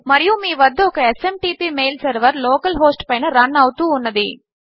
మరియు మీ వద్ద ఒక SMTP mail server local host పైన రన్ అవుతూ ఉన్నది